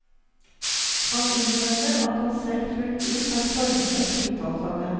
Han innrømmer at han selv fullt ut har formet et titalls av dem.